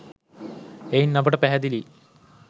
එයින් අපට පැහැදිලියි